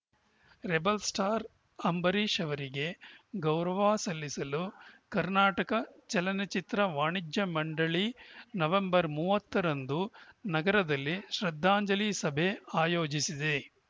rebel star Ambareesh ಅವರಿಗೆ ಗೌರವ ಸಲ್ಲಿಸಲು ಕರ್ನಾಟಕ ಚಲನಚಿತ್ರ ವಾಣಿಜ್ಯ ಮಂಡಳಿ ನವೆಂಬರ್ ಮೂವತ್ತರಂದು ನಗರದಲ್ಲಿ ಶ್ರದ್ಧಾಂಜಲಿ ಸಭೆ ಆಯೋಜಿಸಿದೆ